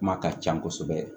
Kuma ka ca kosɛbɛ